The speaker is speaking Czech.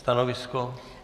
Stanovisko?